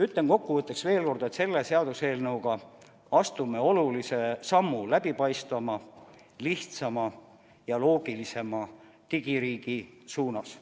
Ütlen kokkuvõtteks veel kord, et selle seaduseelnõuga astume olulise sammu läbipaistvama, lihtsama ja loogilisema digiriigi suunas.